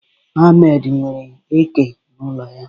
Ahmad nwere eke n'ụlọ ya.